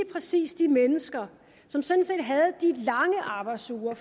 præcis de mennesker som sådan set havde de lange arbejdsuger